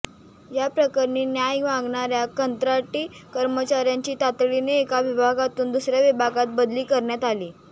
या प्रकरणी न्याय मागणाऱ्या कंत्राटी कर्मचाऱ्याची तातडीने एका विभागातून दुसऱ्या विभागात बदली करण्यात आली